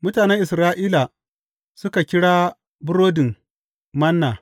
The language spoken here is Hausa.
Mutanen Isra’ila suka kira burodin Manna.